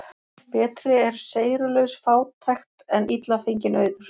Betri er seyrulaus fátækt en illa fenginn auður.